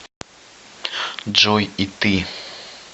джой и ты